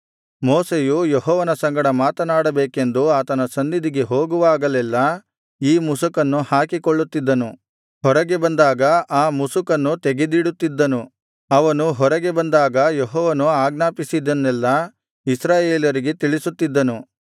ಮೋಶೆಯು ಯೆಹೋವನ ಸಂಗಡ ಮಾತನಾಡಬೇಕೆಂದು ಆತನ ಸನ್ನಿಧಿಗೆ ಹೋಗುವಾಗಲೆಲ್ಲಾ ಈ ಮುಸುಕನ್ನು ಹಾಕಿಕೊಳ್ಳುತ್ತಿದ್ದನು ಹೊರಗೆ ಬಂದಾಗ ಆ ಮುಸುಕನ್ನು ತೆಗೆದಿಡುತ್ತಿದ್ದನು ಅವನು ಹೊರಗೆ ಬಂದಾಗ ಯೆಹೋವನು ಆಜ್ಞಾಪಿಸಿದ್ದನ್ನೆಲ್ಲಾ ಇಸ್ರಾಯೇಲರಿಗೆ ತಿಳಿಸುತ್ತಿದ್ದನು